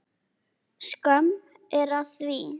Skömm er að því.